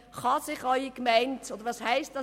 Kann sich Ihre Gemeinde dies leisten?